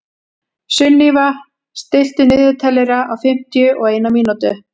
Sunníva, stilltu niðurteljara á fimmtíu og eina mínútur.